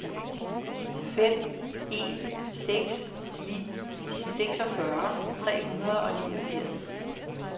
fem en seks ni seksogfyrre tre hundrede og niogfirs